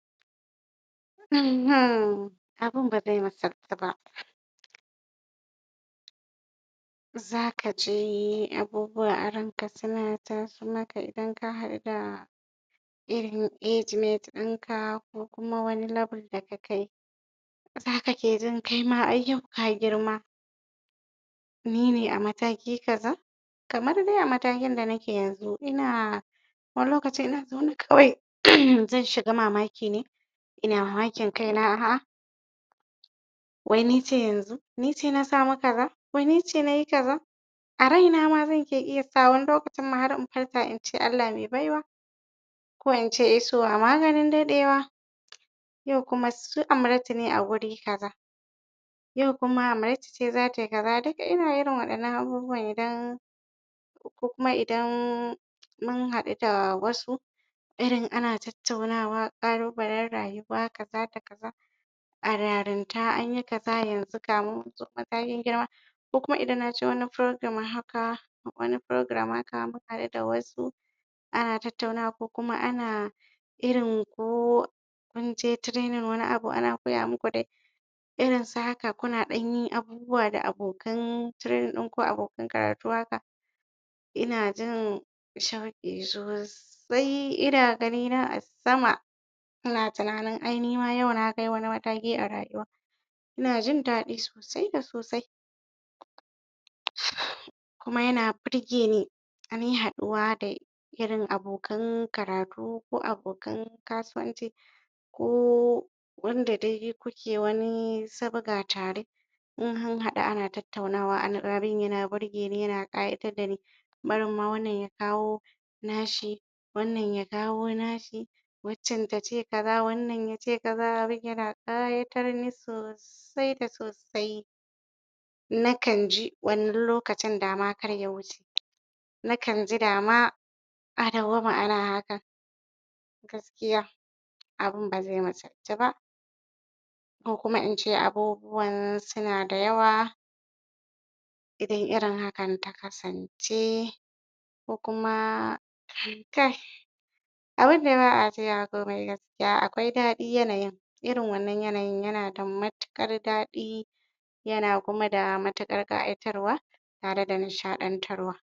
Um abun baze musultu ba zaka ji abubuwa a ranka suna taso maka idan ka haɗu da irin age mate ɗinka ko kuma wani level da kakai zaka ke jin ai kai ma yau ka girma nine a mataki kaza kamar dai a matakin da nake yanzu ina wani lokacin ina zaune kawai zan shaga mamaki ne ina mamakin kaina a'ah wai nice yanzu nice na samu kaza wai nice nayi kaza a raina ma zan ke iya kawo wa wani lokacin ma har in farka ince Allah me baiwa ko ince isowa maganin daɗewa yau kuma su Amratu ne a guri kaza yau kuma Amratu ce zatai kaza duk ina irin waɗannan abubwan idan ko kuma idan mun haɗu da wasu irin ana tattaunawa ƙalubalen rayuwa kaza da kaza a yarinta anyi kaza yanzu gamu mun riga mun girma ko kuma idan naji wani program haka wani program haka mun haɗu da wasu ana tattaunawa ko kuma ana irin ko munje training wani abu ana koya muku dai irin su haka kuna ɗanyin abubuwa da abokan training ɗinku abokan karatu haka ina jin shauƙi sosai ina gani na a sama ina tunanin ai nima yau nakai wani mataki a rayuwa ina jin daɗi sosai da sosai um kuma yana burgeni ainahin haɗuwa da irin abokan karatu ko abokan kasuwanci ko wanda dai kuke wani sabga tare in an haɗu ana tattaunawa anagarin yana burgeni yana ƙayatar dani barin ma wannan ya kawo nashi wannan ya kawo nashi waccan tace kaza wannan yace kaza abun yana ƙayatar ni sosai da sosai nakan ji wannan lokacin dama kar ya wuce nakan ji dama a dawwama ana hakan gaskiya abun baze musaltu ba ko kuma ince abubuwan suna da yawa idan irin hakan ta kasance ko kuma kai abun de ba'a cewa komai gaskiya akwai daɗi yanayin irin wannan yanayin yana da matuƙar daɗi yana kuma da matuƙar ƙayatarwa tare da nishaɗan tarwa.